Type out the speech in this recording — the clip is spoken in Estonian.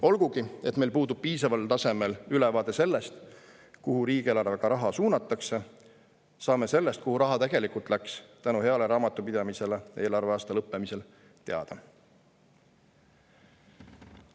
Olgugi et meil puudub piisaval tasemel ülevaade sellest, kuhu riigieelarvega raha suunatakse, saame sellest, kuhu raha tegelikult läks, tänu heale raamatupidamisele eelarveaasta lõppemisel teada.